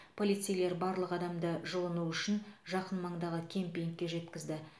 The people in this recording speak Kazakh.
полицейлер барлық адамды жылыну үшін жақын маңдағы кемпингке жеткізді